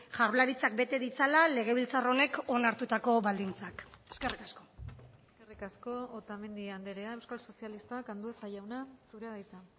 jaurlaritzak bete ditzala legebiltzar honek onartutako baldintzak eskerrik asko eskerrik asko otamendi andrea euskal sozialistak andueza jauna zurea da hitza